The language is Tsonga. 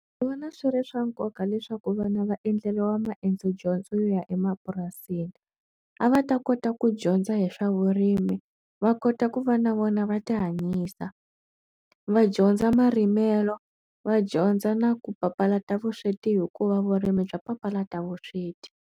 Ndzi vona swi ri swa nkoka leswaku vhanu va endleriwa maendzo dyondzo ya emapurasini a va ta kota ku dyondza hi swa vurimi va kota ku va na vona va ti hanyisa va dyondza marimelo va dyondza na ku papalata vusweti hikuva vurimi bya papalata vusweti.